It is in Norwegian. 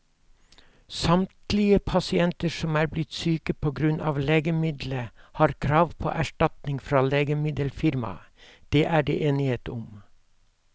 Samtlige pasienter som er blitt syke på grunn av legemiddelet, har krav på erstatning fra legemiddelfirmaet, det er det enighet om.